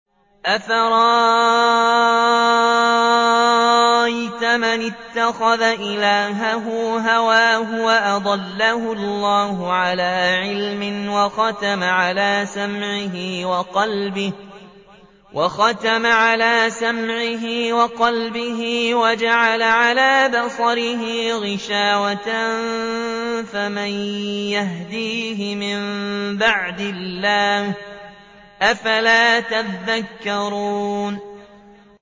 أَفَرَأَيْتَ مَنِ اتَّخَذَ إِلَٰهَهُ هَوَاهُ وَأَضَلَّهُ اللَّهُ عَلَىٰ عِلْمٍ وَخَتَمَ عَلَىٰ سَمْعِهِ وَقَلْبِهِ وَجَعَلَ عَلَىٰ بَصَرِهِ غِشَاوَةً فَمَن يَهْدِيهِ مِن بَعْدِ اللَّهِ ۚ أَفَلَا تَذَكَّرُونَ